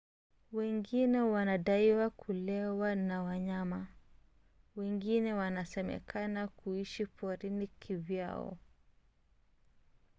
wengine wanadaiwa kulewa na wanyama; wengine wanasemekana kuishi porini kivyao